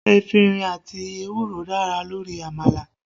Efinrin àti ewúro dára lórí àmàlà